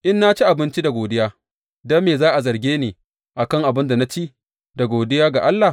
In na ci abinci da godiya, don me za a zarge ni a kan abin da na ci da godiya ga Allah?